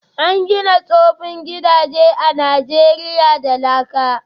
An gina tsoffin gidaje a Najeriya da laka